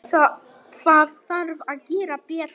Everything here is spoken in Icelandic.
Það þarf að gera betur.